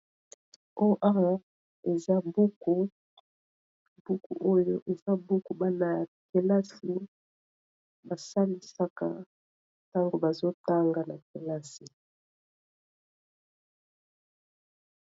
oyo eza buku oyo eza buku bana ya kelasi basalisaka ntango bazotanga na kelasi